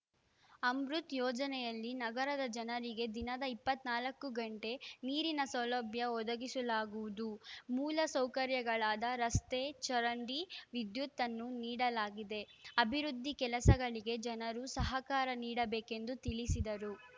ಅಮೃತ್‌ ಯೋಜನೆಯಲ್ಲಿ ನಗರದ ಜನರಿಗೆ ದಿನದ ಇಪ್ಪತ್ತ್ ನಾಲ್ಕು ಗಂಟೆ ನೀರಿನ ಸೌಲಭ್ಯ ಒದಗಿಸಲಾಗುವುದು ಮೂಲ ಸೌಕರ್ಯಗಳಾದ ರಸ್ತೆ ಚರಂಡಿ ವಿದ್ಯುತನ್ನು ನೀಡಲಾಗಿದೆ ಅಭಿವೃದ್ಧಿ ಕೆಲಸಗಳಿಗೆ ಜನರು ಸಹಕಾರ ನೀಡಬೇಕೆಂದು ತಿಳಿಸಿದರು